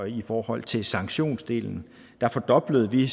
i forhold til sanktionsdelen der fordoblede vi